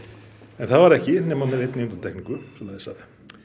en það var ekki nema með einni undantekningu svoleiðis að